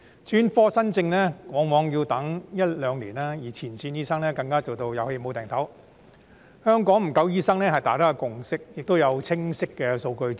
專科門診新症往往要輪候一兩年，而前線醫生更做到"有氣冇掟抖"，香港醫生不足是大家的共識，亦有清晰的數據支持。